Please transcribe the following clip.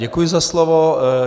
Děkuji za slovo.